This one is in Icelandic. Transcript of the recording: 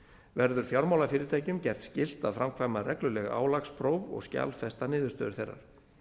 verður fjármálafyrirtækjum gert skylt að framkvæma regluleg álagspróf og skjalfesta niðurstöður þeirra